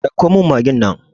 Ɗauko min magin nan!